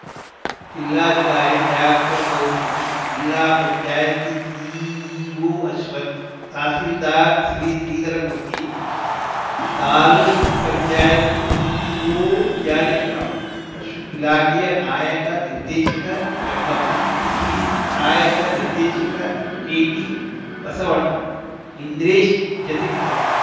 ಜಿಲ್ಲಾಧಿಕಾರಿ doctor Gautham zilla panchayat CEO Ashwath tahsildar Shri Sridharamurthy taluk panchayat EO Janakiram ಪಶು ಇಲಾಖೆಯ ನಾಯಕ ನಿರ್ದೇಶಕ ರಂಗಪ್ಪ ಕೃಷಿ ಸಹಾಯಕ ನಿರ್ದೇಶಕ ಕೆಟಿಬಸವಣ್ಣ ಇಂದ್ರೇಶ್‌ ಜೊತೆಗಿದ್ದರು